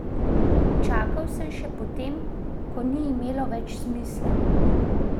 Čakal sem še potem, ko ni imelo več smisla.